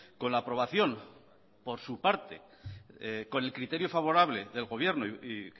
con la aprobación por su parte con el criterio favorable del gobierno y